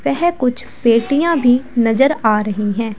वह कुछ पेटियां भी नजर आ रही हैं।